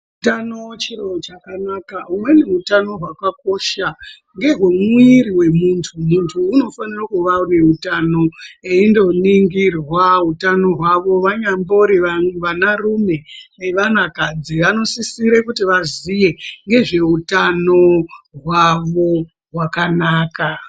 Utano chiro chakanaka umweni utano hwakakosha ngehwe mwiri hwemuntu , muntu unofanire kuva ne utano endoningirwa utano hwavo vanyambori vana rume nevanakadzi vanosisire kuti vaziye ngezveutano hwavo hwakanaka.